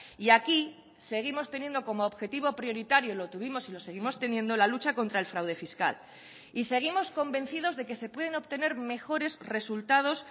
y aquí seguimos teniendo como objetivo prioritario lo tuvimos y lo seguimos teniendo la lucha contra el fraude fiscal y seguimos convencidos de que se pueden obtener mejores resultados